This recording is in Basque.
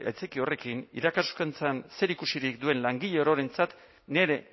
horrekin irakaskuntzan zerikusirik duen langile ororentzat nire